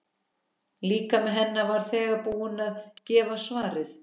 Líkami hennar var þegar búinn að gefa svarið.